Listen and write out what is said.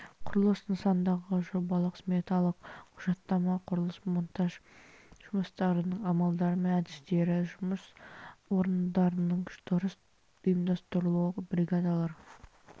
құрылыс нысандағы жобалық сметалық құжаттама құрылыс монтаж жұмыстарының амалдары мен әдістері жұмыс орындарының дұрыс ұйымдастырылуы бригадалар